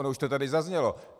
Ono už to tady zaznělo.